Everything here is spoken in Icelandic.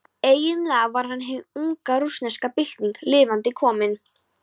Eiginlega var hann hin unga rússneska bylting lifandi komin.